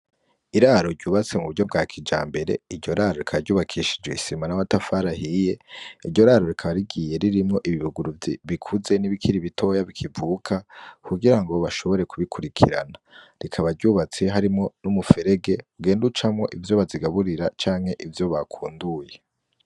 Iraro ryubatswe muburyo bwa kijambere iryo raro rikaba ryubakishijwe isima n'amatafari ahiye, iryo raro rikaba rigiye ririmwo ibibuguru bikuze nibikiri bitoya bikivuka, kugirango bashobore kubikurikirana. Rikaba ryubatse harimwo n'umuferege ugenda ucamwo ivyo bazigaburira ,canke ivyo bakunduye.